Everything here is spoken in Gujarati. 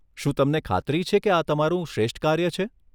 શું તમને ખાતરી છે કે આ તમારું શ્રેષ્ઠ કાર્ય છે?